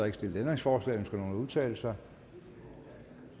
ikke stillet ændringsforslag ønsker nogen at udtale sig